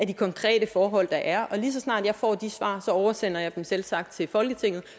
de konkrete forhold der er og lige så snart jeg får de svar oversender jeg dem selvsagt til folketinget